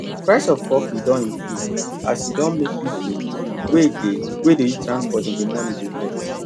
price of coffee don increase and e don make people wey dey dey use transport in the morning dey vex